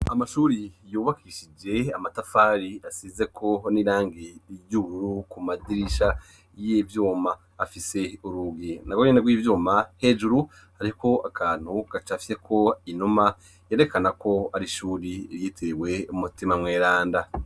Amashuri yubakishije amatafari asizeko n'irangi ry'ubururu ku madirisha y'ivyuma, afise urugi narwo nyene rw'ivyuma, hejuru hariko akantu gacafyeko inuma, yerekana ko ar'ishuri ryitiriwe Mutima mweranda.